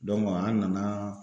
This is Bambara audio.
an nana